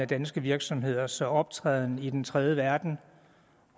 danske virksomheders optræden i den tredje verden